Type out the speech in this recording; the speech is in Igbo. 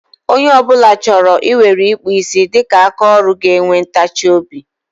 Onye ọ bụla chọrọ ị weere ịkpụ isi dịka aka ọrụ ga-enwe ntachi obi.